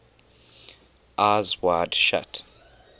eyes wide shut